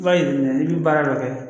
I b'a yir'i la i bi baara dɔ kɛ